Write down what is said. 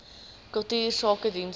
kultuursakedienste